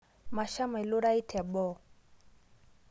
Masham ailurai teboo